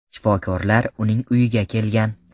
Shifokorlar uning uyiga kelgan.